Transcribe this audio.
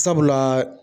Sabula